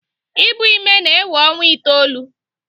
Ibu ime na-ewe ọnwa itoolu.